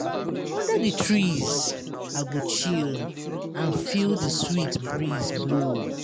Under di trees, I go chill and feel di sweet breeze blow.